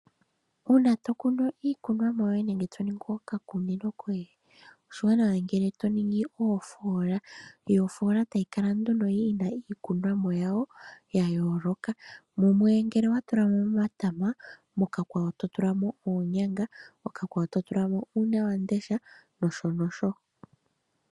Uuna to kunu iikunomwa yoye nenge to ningi okakunino koye, oshiwanawa ngele to ningi oofola, yo ofola tayi kala nduno yi na iikunomwa yawo ya yooloka Mumwe ngele owa tula mo omatama, mokakwawo to tula mo uunyanga, okakwawo to tula mo uunawandesha nosho tuu.